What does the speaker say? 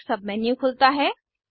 एक सबमेनू खुलता है